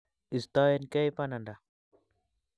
Istoenkei pananda.